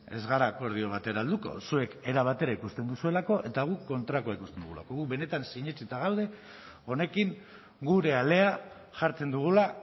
ez gara akordio batera helduko zuek era batera ikusten duzuelako eta guk kontrakoa ikusten dugulako gu benetan sinetsita gaude honekin gure alea jartzen dugula